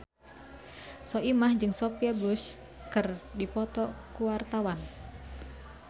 Soimah jeung Sophia Bush keur dipoto ku wartawan